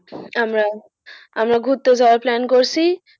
আমরা, আমরা ঘুরতে যাওয়ার plan করছি।